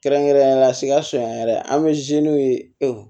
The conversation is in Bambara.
Kɛrɛnkɛrɛnnenya la sikaso yan yɛrɛ an bɛ